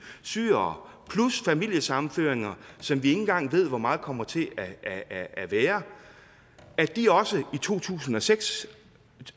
syrere plus familiesammenførte som vi ikke engang ved hvor mange kommer til at at være i to tusind og seks